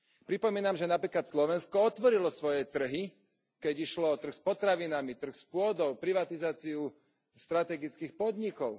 Pripomínam, že napríklad Slovensko otvorilo svoje trhy, keď išlo o trh s potravinami, trh s pôdou, privatizáciu strategických podnikov.